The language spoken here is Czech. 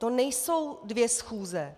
To nejsou dvě schůze.